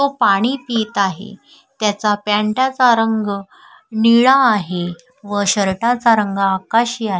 तो पाणी पित आहे त्याचा पँटाचा रंग निळा आहे व शर्टाचा रंग आकाशी आहे.